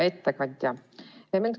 Hea ettekandja!